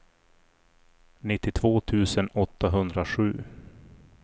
nittiotvå tusen åttahundrasju